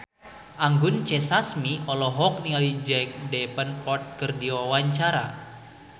Anggun C. Sasmi olohok ningali Jack Davenport keur diwawancara